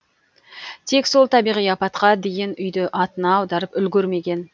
тек сол табиғи апатқа дейін үйді атына аударып үлгермеген